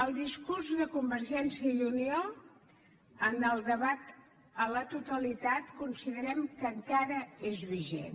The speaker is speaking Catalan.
el discurs de convergència i unió en el debat a la totalitat considerem que encara és vigent